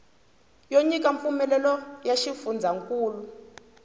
yo nyika mpfumelelo ya xifundzankulu